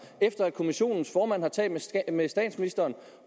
efter at kommissionens formand har talt med statsministeren